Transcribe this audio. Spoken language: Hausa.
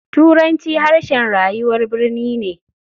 Turanci harshen rayuwar birni ne.